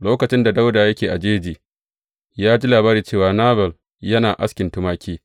Lokacin da Dawuda yake a jeji, ya ji labari cewa Nabal yana askin tumaki.